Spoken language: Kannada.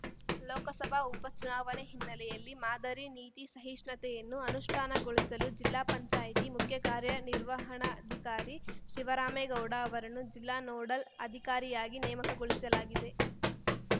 ಲೋಕಸಭಾ ಉಪ ಚುನಾವಣೆ ಹಿನ್ನೆಲೆಯಲ್ಲಿ ಮಾದರಿ ನೀತಿ ಸಹಿಷ್ಣುತೆಯನ್ನು ಅನುಷ್ಠಾನಗೊಳಿಸಲು ಜಿಲ್ಲಾ ಪಂಚಾಯಿತಿ ಮುಖ್ಯ ಕಾರ್ಯನಿರ್ವಹಣಾಧಿಕಾರಿ ಶಿವರಾಮೇಗೌಡ ಅವರನ್ನು ಜಿಲ್ಲಾ ನೋಡಲ್‌ ಅಧಿಕಾರಿಯಾಗಿ ನೇಮಕಗೊಳಿಸಲಾಗಿದೆ